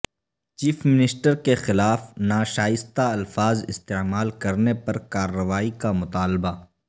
chief minister کے خلاف ناشائستہ الفاظ استعمال کرنے پر کارروائی کا مطالبہ